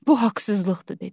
Bu haqsızlıqdır dedim.